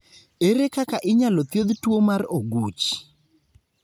Ere kaka inyalo thiedh tuwo mar oguch?